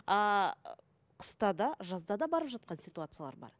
ы қыста да жазда да барып жатқан ситуациялар бар